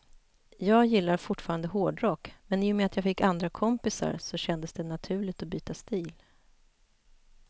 Jag gillar fortfarande hårdrock, men i och med att jag fick andra kompisar så kändes det naturligt att byta stil.